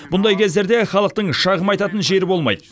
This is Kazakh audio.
мұндай кездерде халықтың шағым айтатын жері болмайды